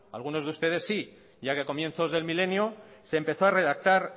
a algunos de ustedes sí ya que a comienzos del milenio se empezó a redactar